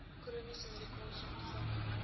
chroniese medikasie ontvang